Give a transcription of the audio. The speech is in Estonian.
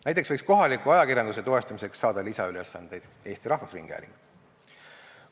Näiteks võiks kohaliku ajakirjanduse toestamiseks saada lisaülesandeid Eesti Rahvusringhääling.